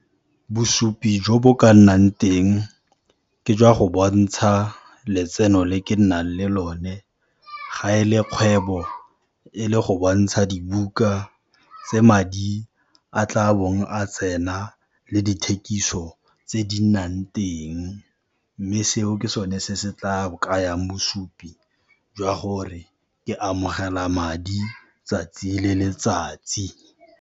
Bosupi jo bo ka nnang teng, ke jwa go bontsha letseno le ke nnang le lone, ga e le kgwebo, e le go bontsha dibuka tse madi a tla bong a tsena le dithekiso tse di nnang teng, mme seo ke sone se se tla kayang bosupi jwa gore ke amogela madi tsatsi le letsatsi.